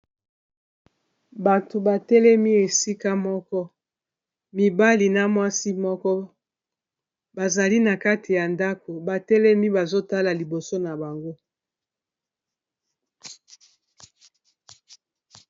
Bato, batelemi esika moko, mibali na mwasi, moko bazali na kati ya ndako batelemi ,bazotala liboso na bango.